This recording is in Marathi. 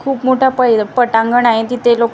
खूप मोठा पै पटांगण आहे तिथे लोक काही--